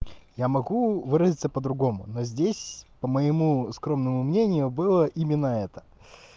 я могу выразиться по-другому но здесь по моему скромному мнению было именно это